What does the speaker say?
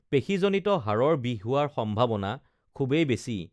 পেশীজনিত হাঁড়ৰ বিষ হো‌ৱাৰ সম্ভা‌ৱনা খু‌ৱেই বেছি